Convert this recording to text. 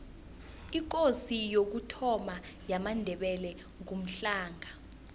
ikosi yokuthoma yamandebele ngumhlanga